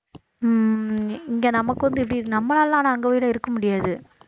உம் இங்கே நமக்கு வந்து இப்படி நம்மளாலாம் ஆனா அங்கே போயெல்லாம் இருக்க முடியாது